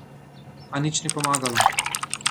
A nič ni pomagalo!